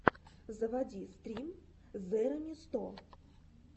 заводи стрим зэремисто